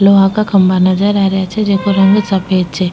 लोहा का खम्भा नजर आ रेहा छे जेका रंग सफ़ेद छे। --